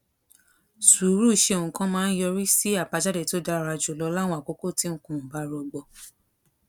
sùúrù ṣe nǹkan máa ń yọrí sí àbájáde tó dára jù lọ láwọn àkókò tí nǹkan ò bá rọgbọ